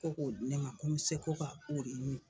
Ko k'o di ne ma ko mɛ se ko ka o de min.